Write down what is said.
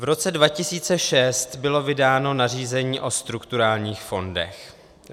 V roce 2006 bylo vydáno nařízení o strukturálních fondech.